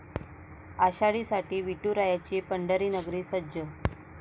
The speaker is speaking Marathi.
आषाढीसाठी विठुरायाची पंढरीनगरी सज्ज!